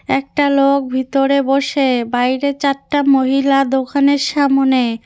একটা লোক ভিতরে বসে বাইরে চারটা মহিলা দোকানের সামোনে ।